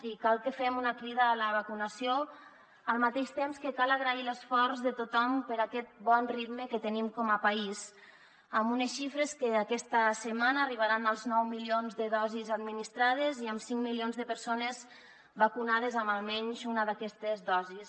i cal que fem una crida a la vacunació al mateix temps que cal agrair l’esforç de tothom per aquest bon ritme que tenim com a país amb unes xifres que aquesta setmana arribaran als nou milions de dosis administrades i amb cinc milions de persones vacunades amb almenys una d’aquestes dosis